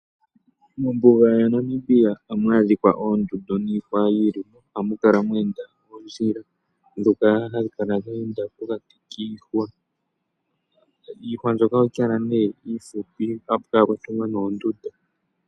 Mombuga yaNamibia ohamu ohamu adhika oondundu niihwa yili mo. Ohamu kala mweenda oondjila dhoka hadhi kala dhe enda pokati kiihwa. Iihwa mbyoka ohayi kala nee ihupi kayi thike pamwe noondundu.